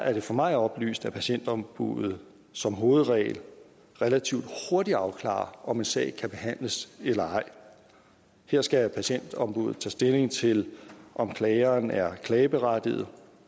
er det for mig oplyst at patientombuddet som hovedregel relativt hurtigt afklarer om en sag kan behandles eller ej her skal patientombuddet tage stilling til om klageren er klageberettiget